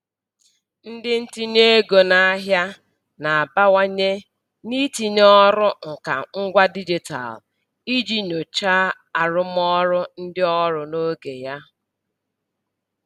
Ndị ntinye ego n'ahịa na-abawanye n'itinye ọrụ nka ngwa dijitalụ iji nyochaa arụmọrụ ndị ọrụ n'oge ya.